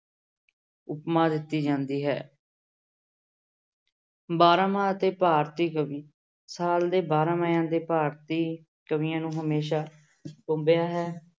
ਉਪਮਾ ਦਿੱਤੀ ਜਾਂਦੀ ਹੈ ਬਾਰਾਂਮਾਂਹ ਅਤੇ ਭਾਰਤੀ ਕਵੀ ਸਾਲ ਦੇ ਬਾਰਾਂਮਾਂਹ ਦੇ ਭਾਰਤੀ ਕਵੀਆਂ ਨੂੰ ਹਮੇਸ਼ਾ ਟੁੰਬਿਆ ਹੈ।